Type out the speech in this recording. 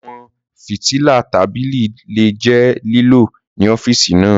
Àwọn fìtílà tábìlì lè jẹ́ lílò ní ọ́fíìsì náà.